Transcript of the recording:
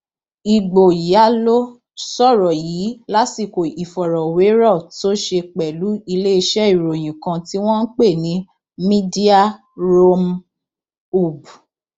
ìgboyàló sọrọ yìí lásìkò ìfọrọwérọ tó ṣe pẹlú iléeṣẹ ìròyìn kan tí wọn ń pè ní mediaroomhoob